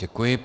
Děkuji.